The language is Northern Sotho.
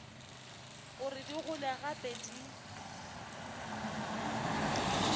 gore di gole gape di